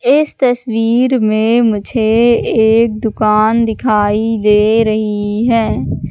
इस तस्वीर में मुझे एक दुकान दिखाई दे रही है।